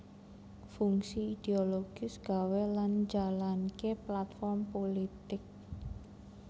Fungsi idiologis gawé lan njalanké platform pulitik